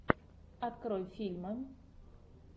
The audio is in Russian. открой фильмы